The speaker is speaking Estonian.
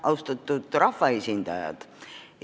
Austatud rahvaesindajad!